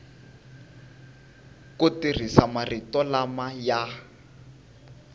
ku tirhisa marito lama ya